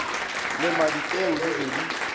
lema dipeu di be di